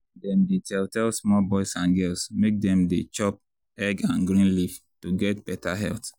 dem dey tell tell small boys and girls make dem dey chop egg and green leaf to get beta health.